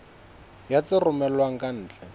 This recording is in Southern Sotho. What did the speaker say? ya tse romellwang ka ntle